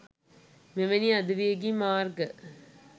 මෙවැනි අධිවේගී මාර්ග